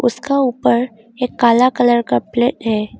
इसका ऊपर एक काला कलर का प्लेट है।